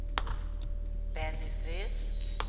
Benny Frisk